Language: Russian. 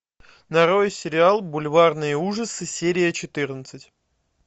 нарой сериал бульварные ужасы серия четырнадцать